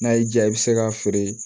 N'a y'i diya i bɛ se k'a feere